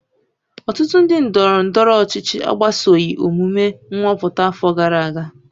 ọtụtụ ndị ndọrọ ndọrọ ọchịchị agbasoghị omume nhọpụta afọ gara aga